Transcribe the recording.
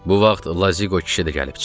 Bu vaxt Lazığo kişi də gəlib çıxdı.